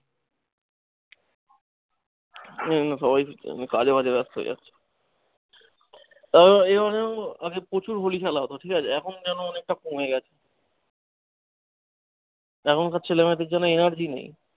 হুম হয়েছে, কাজে ফাজে ব্যাস্ত হয়ে যাচ্ছে। মানে প্রচুর holi খেলা হতো ঠিকাছে এখন যেন অনেকটা কমে গেছে। এখন সব ছেলে মেয়েদের যেন energy নেই।